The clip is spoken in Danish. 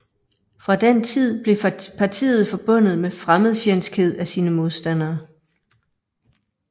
Fra den tid blev partiet forbundet med fremmedfjendskhed af sine modstandere